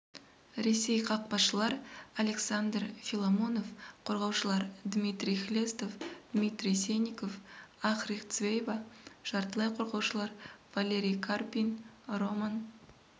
ресей қақпашылар александр филимонов қорғаушылар дмитрий хлестов дмитрий сенников ахрик цвейба жартылай қорғаушылар валерий карпин роман